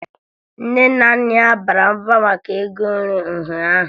Nne na Nna ya bara mba maka ego nri ụnyaahụ